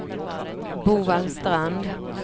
Bovallstrand